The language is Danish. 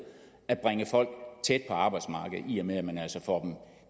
at bringe folk tæt på arbejdsmarkedet i og med at man altså får